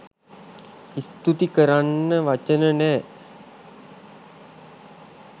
ස්තූති කරන්න වචන නෑ.